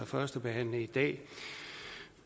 førstebehandle i dag